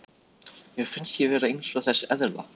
Mér finnst ég vera eins og þessi eðla.